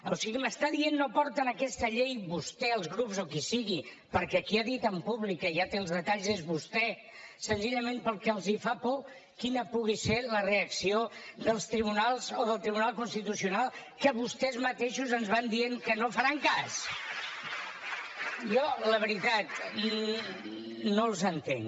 o sigui m’està dient no porten aquesta llei vostè els grups o qui sigui perquè qui ha dit en públic que ja té els detalls és vostè senzillament perquè els fa por quina pugui ser la reacció dels tribunals o del tribunal constitucional que vostès mateixos ens van dient que no faran cas jo la veritat no els entenc